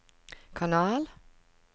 kanal